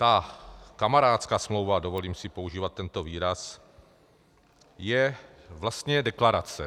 Ta kamarádská smlouva - dovolím si používat tento výraz - je vlastně deklarace.